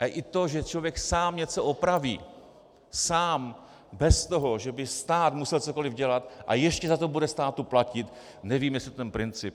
A i to, že člověk sám něco opraví, sám, bez toho, že by stát musel cokoli dělat, a ještě za to bude státu platit - nevím, jestli ten princip...